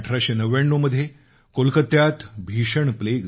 1899 मध्ये कोलकात्यात भीषण प्लेग झाला